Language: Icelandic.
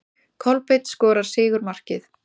Kolbeinn skorar sigurmarkið.